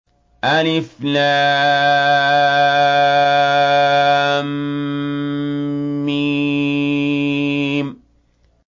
الم